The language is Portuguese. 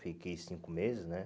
Fiquei cinco meses, né?